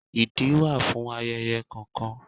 Ìdí wà fún ayẹyẹ kọ̀ọ̀kan.